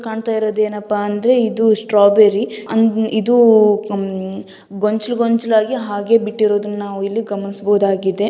‌ ಕಾಂಣ್ತಾ ಇರೋದು ಎನ್ನಪ ಅಂದ್ರೆ ಇದು ಸ್ಟ್ರೈಬೇರಿ ಇದು ಉಹ್ ಗೊಂಚಲು ಗೊಂಚಲಗಿ ಹಾಗೆ ಬಿಟ್ಟಿರೋದನ್ನ ನಾವು ಇಲ್ಲಿ ಗಮನಿಸಬಹುದಾಗಿದೆ .